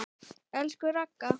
Elsku Ragga.